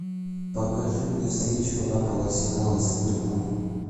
покажи мне встречу апл арсенала с ливерпулем